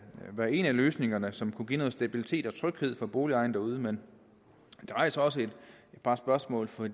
være en af løsningerne som kunne give noget stabilitet og tryghed for boligejerne derude men det rejser også et par spørgsmål for